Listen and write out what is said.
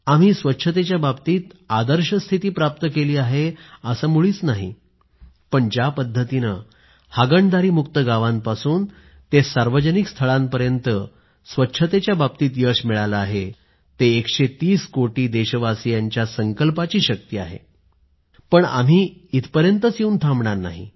आम्ही स्वच्छतेच्या बाबतीत आदर्श स्थिती प्राप्त केली आहे असं मुळीच नाही पण ज्या पद्धतीनं हागणदारीमुक्त गावांपासून ते सार्वजनिक स्थळांपर्यंत स्वच्छतेच्या बाबतीत जे यश मिळालं आहे ते एकशे तीस कोटी देशवासियांच्या संकल्पाची शक्ती आहे पण आम्ही इथपर्यंत येऊन थांबणार नाही